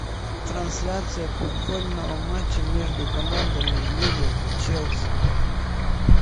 трансляция футбольного матча между командами ливер челси